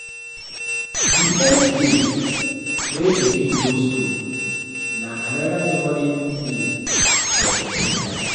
Di first day wey pikin go school na anoda memorable event for pikin life